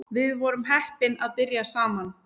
Við vorum heppin að byrja saman